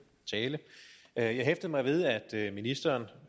tale jeg hæftede mig ved at ministeren